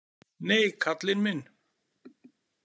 Nei, karlinn minn!